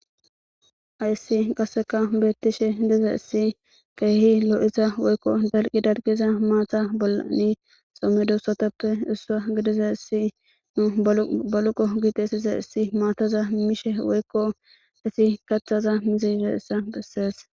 Ayssi qasseka beettishe diza issi keehi loo'isa woykko dalqi darqiza maata bollani somme duussatappe issua gidiza issi nu baluqo giitessiza issi maataza mishe woykko isi kaththaza mizi ise issa bessees.